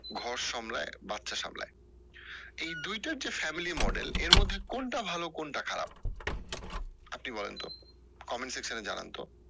ঘর সামলায় বাচ্চা সামলায় এই দুইটা যে family model এর মধ্যে কোনটা ভালো কোনটা খারাপ? আপনি বলেন তো comment section এ জানান তো